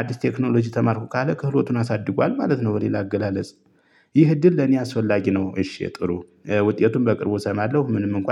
አዲስ ቴክኖሎጂ ተማርኩ ካለ ክህሎቱን አሳድጓል ማለት ነው በሌላ አገላለጽ። ይህ እድል ለኔ አስፈላጊ ነው። እሺ ጥሩ ውጤቱን በቅርቡ እሰማለሁ ምንም እንኳን